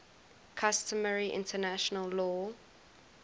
customary international law